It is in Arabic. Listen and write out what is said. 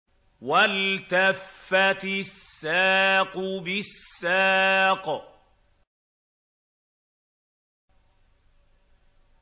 وَالْتَفَّتِ السَّاقُ بِالسَّاقِ